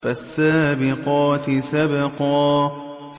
فَالسَّابِقَاتِ سَبْقًا